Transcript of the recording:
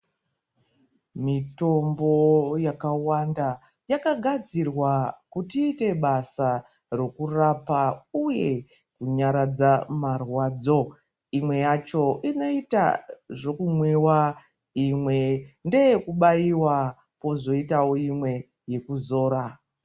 Mitombo yakawanda yakagadzirwa kuti iite basa rwkurapa uye kunyaradza marwadzo imwe yacho inoita zvekumwiwa imwe ndeye kubaiwa kwozoitawo imwe yekuzira.